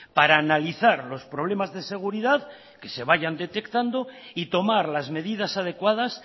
para analizar los problemas de seguridad que se vayan detectando y tomar las medidas adecuadas